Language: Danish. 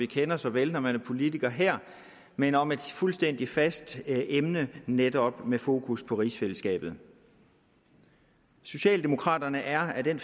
kender så vel når man er politiker her men om et fuldstændig fast emne netop med fokus på rigsfællesskabet socialdemokraterne er af den